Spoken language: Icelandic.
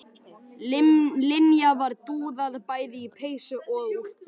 Linja var dúðuð bæði í peysu og úlpu.